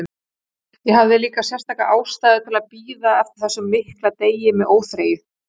Ég hafði líka sérstaka ástæðu til að bíða eftir þessum mikla degi með óþreyju.